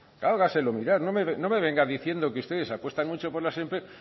hágaselo mirar no me venga diciendo que ustedes apuestan mucho por las empresas